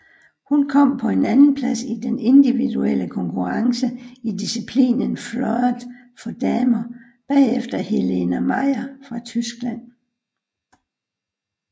Hun kom på en andenplads i den individuelle konkurrence i disciplinen fleuret for damer bagefter Helene Mayer fra Tyskland